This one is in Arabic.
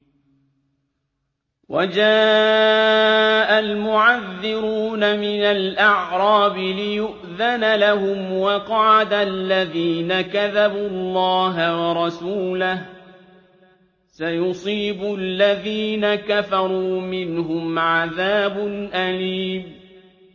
وَجَاءَ الْمُعَذِّرُونَ مِنَ الْأَعْرَابِ لِيُؤْذَنَ لَهُمْ وَقَعَدَ الَّذِينَ كَذَبُوا اللَّهَ وَرَسُولَهُ ۚ سَيُصِيبُ الَّذِينَ كَفَرُوا مِنْهُمْ عَذَابٌ أَلِيمٌ